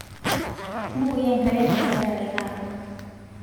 bukoi enkare te nkararei narok